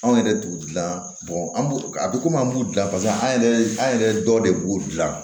Anw yɛrɛ t'u dilan an b'u a bɛ komi an b'u dilan pase an yɛrɛ an yɛrɛ dɔ de b'u dilan